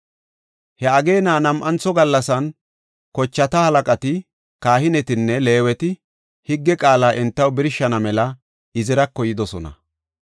He ageena nam7antho gallasan kochata halaqati, kahinetine Leeweti higge qaala entaw birshana mela Izirako yidosona.